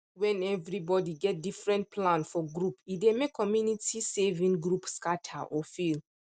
when everybody get different plan for group e dey make community saving group scatter or fail